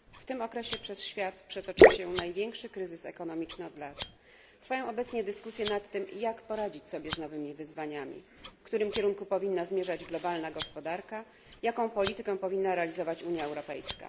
W tym okresie przez świat przetoczył się największy od lat kryzys ekonomiczny. Trwają obecnie dyskusje nad tym, jak poradzić sobie z nowymi wyzwaniami, w którym kierunku powinna zmierzać globalna gospodarka, jaką politykę powinna realizować Unia Europejska.